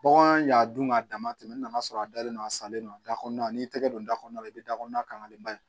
Bagan y'a dun k'a dama tɛmɛ n'a sɔrɔ a dalen don a salen don a da kɔnɔna n'i y'i tɛgɛ don da kɔnɔna la i bɛ da kɔnɔna kanlen ba ye